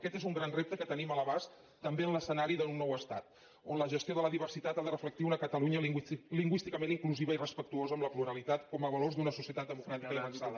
aquest és un gran repte que tenim a l’abast també en l’escenari d’un nou estat on la gestió de la diversitat ha de reflectir una catalunya lingüísticament inclusiva i respectuosa amb la pluralitat com a valors d’una societat democràtica i avançada